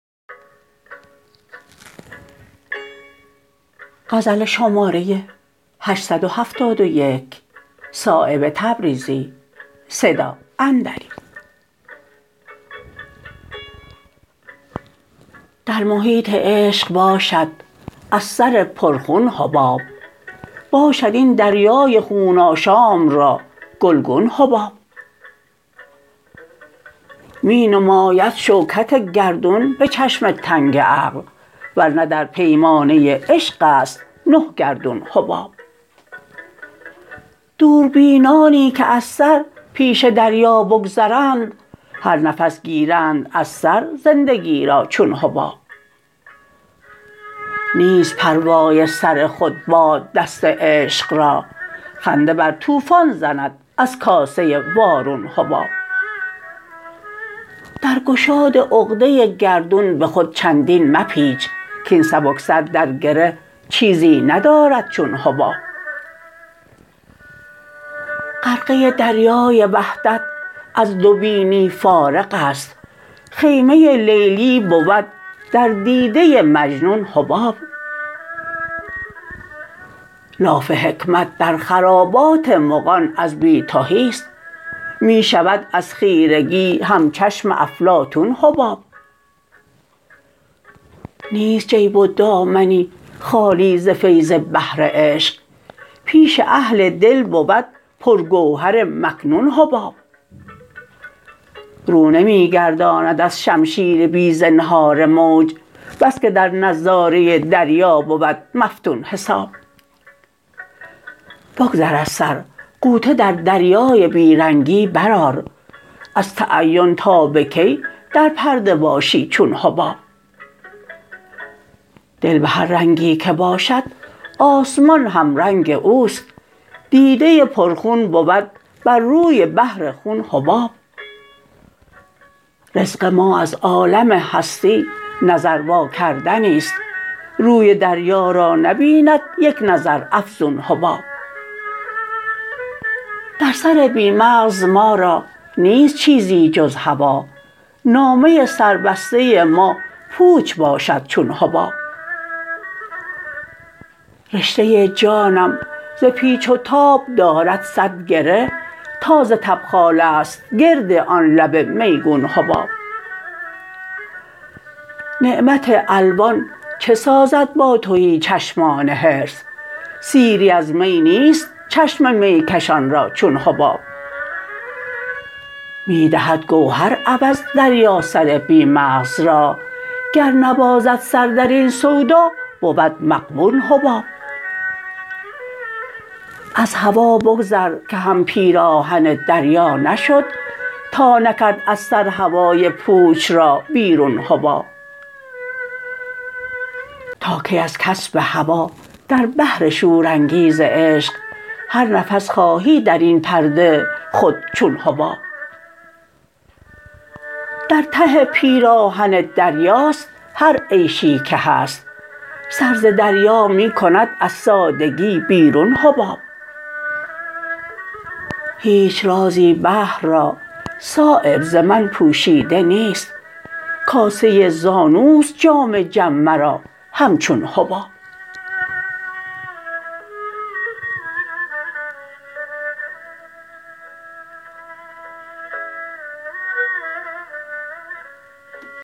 در محیط عشق باشد از سر پر خون حباب باشد این دریای خون آشام را گلگون حباب می نماید شوکت گردون به چشم تنگ عقل ورنه در پیمانه عشق است نه گردون حباب دوربینانی که از سر پیش دریا بگذرند هر نفس گیرند از سر زندگی را چون حباب نیست پروای سر خود باد دست عشق را خنده بر طوفان زند از کاسه وارون حباب در گشاد عقده گردون به خود چندین مپیچ کاین سبکسر در گره چیزی ندارد چون حباب غرقه دریای وحدت از دو بینی فارغ است خیمه لیلی بود در دیده مجنون حباب لاف حکمت در خرابات مغان از بی تهی است می شود از خیرگی همچشم افلاطون حباب نیست جیب و دامنی خالی ز فیض بحر عشق پیش اهل دل بود پر گوهر مکنون حباب رو نمی گرداند از شمشیر بی زنهار موج بس که در نظاره دریا بود مفتون حباب بگذر از سر غوطه در دریای بی رنگی برآر از تعین تا به کی در پرده باشی چون حباب دل به هر رنگی که باشد آسمان همرنگ اوست دیده پر خون بود بر روی بحر خون حباب رزق ما از عالم هستی نظر واکردنی است روی دریا را نبیند یک نظر افزون حباب در سر بی مغز ما را نیست چیزی جز هوا نامه سر بسته ما پوچ باشد چون حباب رشته جانم ز پیچ و تاب دارد صد گره تا ز تبخاله است گرد آن لب میگون حباب نعمت الوان چه سازد با تهی چشمان حرص سیری از می نیست چشم میکشان را چون حباب می دهد گوهر عوض دریا سر بی مغز را گر نبازد سر درین سودا بود مغبون حباب از هوا بگذر که هم پیراهن دریا نشد تا نکرد از سر هوای پوچ را بیرون حباب تا کی از کسب هوا در بحر شورانگیز عشق هر نفس خواهی درین پرده خود چون حباب در ته پیراهن دریاست هر عیشی که هست سر ز دریا می کند از سادگی بیرون حباب هیچ رازی بحر را صایب ز من پوشیده نیست کاسه زانوست جام جم مرا همچون حباب